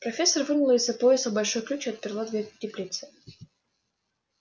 профессор вынула из-за пояса большой ключ и отперла дверь теплицы